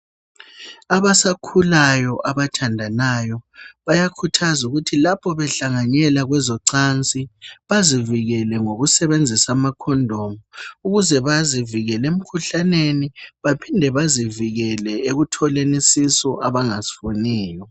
Abasakhulayo abathandanayo bayakhuthazwa ukuthi lapho behlanganyela kwezocansi. Bazivikele ngokusebenzisa amakhondomu ukuze bazivikele umkhuhlaneni, baphinde bazivikele ekutholeni isisu abangasifuniyo.